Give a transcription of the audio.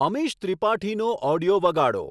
અમીષ ત્રિપાઠીનો ઓડિયો વગાડો